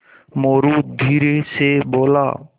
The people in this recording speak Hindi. मोरू धीरे से बोला